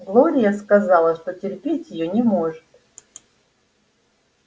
глория сказала что терпеть её не может